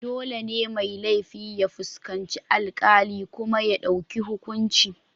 Dole ne mai laifi ya fuskanci alkali kuma ya dauki hukunci.